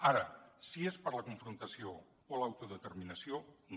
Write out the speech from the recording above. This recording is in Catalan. ara si és per a la confrontació o l’autodeterminació no